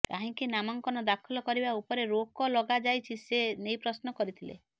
କାହିଁକି ନାମାଙ୍କନ ଦାଖଲ କରିବା ଉପରେ ରୋକ ଲଗାଯାଇଛି ସେ ନେଇ ପ୍ରଶ୍ନ କରିଥିଲେ